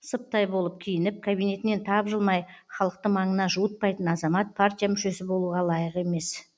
сыптай болып киініп кабинетінен тапжылмай халықты маңына жуытпайтын азамат партия мүшесі болуға лайық емес